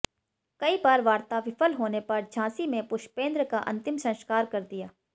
कई बार वार्ता विफल होने पर झांसी में पुष्पेंद्र का अंतिम संस्कार कर दिया